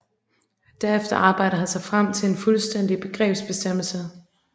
Derefter arbejder han sig frem til en fuldstændig begrebsbestemmelse